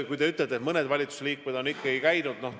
Te ütlete, et mõned valitsuse liikmed on ikkagi välismaal käinud.